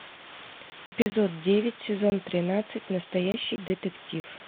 эпизод девять сезон тринадцать настоящий детектив